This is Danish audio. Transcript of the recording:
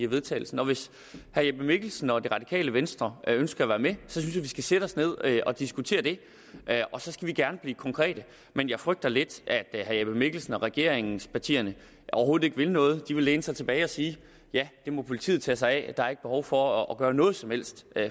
vedtagelse og hvis herre jeppe mikkelsen og det radikale venstre ønsker at være med synes jeg vi skal sætte os ned og diskutere det og så skal vi gerne blive konkrete men jeg frygter lidt at herre jeppe mikkelsen og regeringspartierne overhovedet ikke vil noget og at de vil læne sig tilbage og sige ja det må politiet tage sig af der er ikke behov for at gøre noget som helst